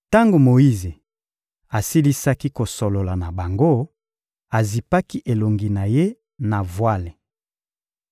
Tango Moyize asilisaki kosolola na bango, azipaki elongi na ye na vwale.